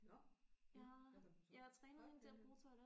Nåh hvad har du så en potteplante